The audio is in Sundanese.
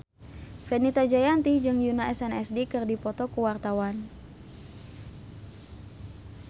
Fenita Jayanti jeung Yoona SNSD keur dipoto ku wartawan